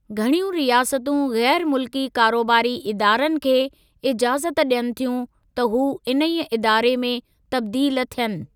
घणियूं रियासतूं ग़ैरु मुल्की कारोबारी इदारनि खे इजाज़त ॾियनि थियूं त हू इन्हीअ इदारे में तब्दील थियनि।